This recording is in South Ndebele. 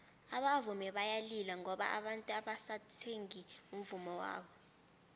abavumi bayalila ngoba abantu abasathengi umvummo wabo